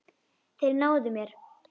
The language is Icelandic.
Þeir náðu mér.